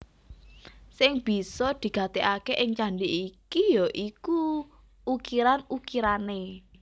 Sing bisa digatekaké ing candhi iki ya iku ukiran ukirané